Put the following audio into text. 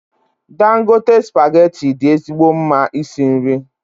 Dangote spaghetti dị ezigbo mma isi nri.